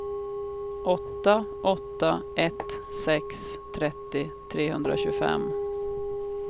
åtta åtta ett sex trettio trehundratjugofem